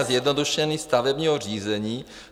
... a zjednodušení stavebního řízení...